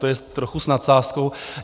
To je trochu s nadsázkou.